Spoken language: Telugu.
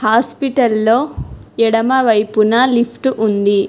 హాస్పిటల్లో ఎడమ వైపున లిఫ్ట్ ఉంది.